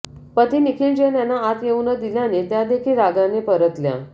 पती निखिल जैन यांना आत येऊ न दिल्याने त्या देखील रागाने परतल्या